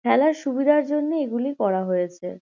খেলার সুবিধার জন্যে এগুলি করা হয়েছে।